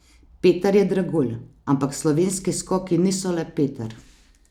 Peter je dragulj, ampak slovenski skoki niso le Peter.